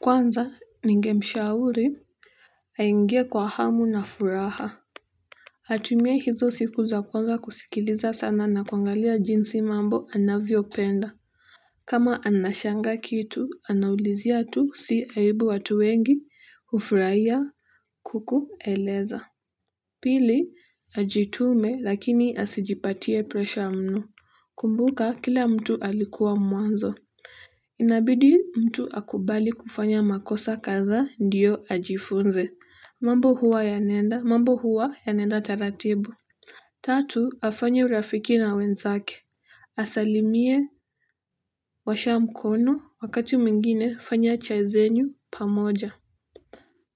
Kwanza ningemshauri aingie kwa hamu na furaha atumie hizo siku za kwanza kusikiliza sana na kuangalia jinsi mambo anavyopenda kama anashangaa kitu anaulizia tu si aibu watu wengi hufurahia kukueleza, pili ajitume lakini asijipatie presha mno, kumbuka kila mtu alikuwa mwanzo inabidi mtu akubali kufanya makosa kadhaa ndiyo ajifunze mambo huwa yanaenda, mambo huwa yanaenda taratibu tatu, afanye urafiki na wenzake asalimie, washa mkono, wakati mwingine fanya chai zenyu pamoja